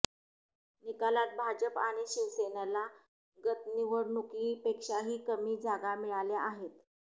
निकालात भाजप आणि शिवसेनेला गत निवडणुकीपेक्षाही कमी जागा मिळाल्या आहेत